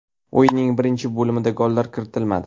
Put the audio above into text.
O‘yinning birinchi bo‘limida gollar kiritilmadi.